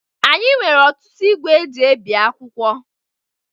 Anyị nwere ọtụtụ igwe eji ebi akwụkwọ